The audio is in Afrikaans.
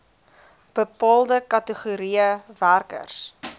bepaalde kategorieë werkers